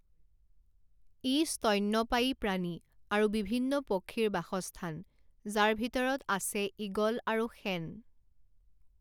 ই স্তন্যপায়ী প্ৰাণী আৰু বিভিন্ন পক্ষীৰ বাসস্থান, যাৰ ভিতৰত আছে ঈগল আৰু শেন।